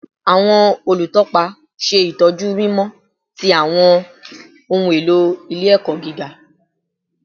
Awọn olutọpa ṣe itọju mimọ ti awọn ohun elo ile-ẹkọ giga